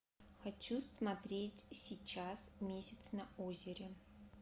хочу смотреть сейчас месяц на озере